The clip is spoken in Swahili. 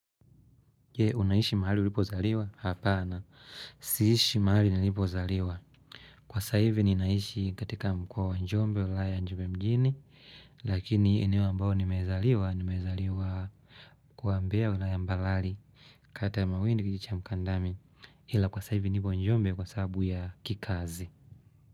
Unaishi mahali ulipozaliwa? Hapana siishi mahali nilipozaliwa. Kwa sasa hivi ninaishi katika mkoa wa njombe ulaya njombe mjini lakini eneo ambao nimezaliwa, nimezaliwa kuambea ulaya Mbaralii. Kata ya maweni kijiji cha Mkandami ila kwa sasa hivi nipo Njombe kwa sababu ya kikazi.